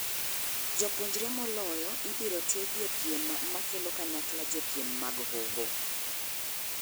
Japuonjre ma oloyo ibiro tiegi e piem makelo kanyakla jopiem mag hoho.